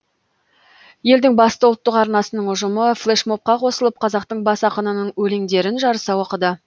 елдің басты ұлттық арнасының ұжымы флэшмобқа қосылып қазақтың бас ақынының өлеңдерін жарыса оқыды